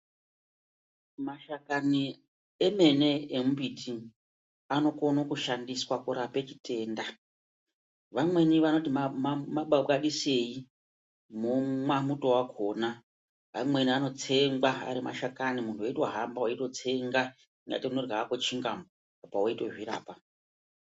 Mashakani emene emimbiti anokone chishandiswa kurape chitenda. Vamweni vanoti mabwabadisei momwa muto wakona, mamweni anotsengwa ari mashakani muntu wotohamba uchitotsenga seunodya hako chingamu apa weitozvirapa.